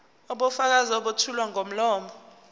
ubufakazi obethulwa ngomlomo